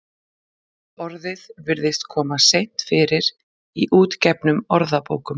Orðið virðist kom seint fyrir í útgefnum orðabókum.